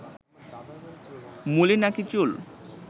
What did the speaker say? মূলে নাকি চুল